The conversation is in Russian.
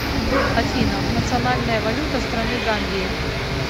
афина национальная валюта страны гамбии